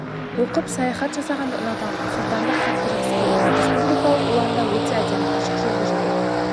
оқып саяхат жасағанды ұнатамын сұлтанды қатты жақсы көремін республикалық ұланда өте әдемі ашық жүзді жан